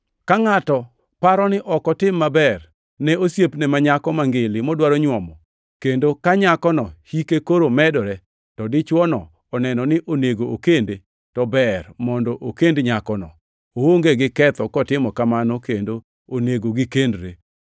Ka ngʼato paro ni ok otim maber ne osiepne ma nyako mangili modwaro nyuomo, kendo ka nyakono hike koro medore, to dichwono oneno ni onego okende, to ber mondo okend nyakono. Oonge gi ketho kotimo kamano kendo onego gikendre.